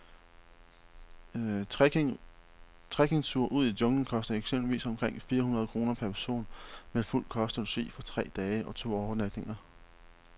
Trekkingture ud i junglen koster eksempelvis omkring fire hundrede kroner per person med fuld kost og logi for tre dage og to overnatninger.